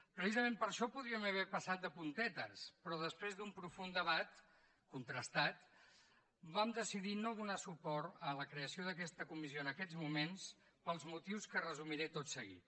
precisament per això podríem haver passat de puntetes però després d’un profund debat contrastat vam decidir no donar suport a la creació d’aquesta comissió en aquests moments pels motius que resumiré tot seguit